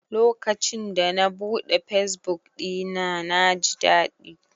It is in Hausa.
Lokacin da na buɗe fesbuk ɗina, na ji daɗi.